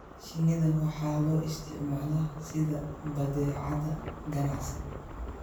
shinnida waxa loo isticmaalaa sida badeecad ganacsi.